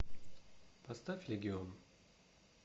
поставь легион